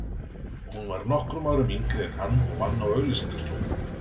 Hún var nokkrum árum yngri en hann og vann á auglýsingastofu.